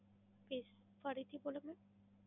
Please ફરી થી બોલો બેન.